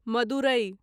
Madurai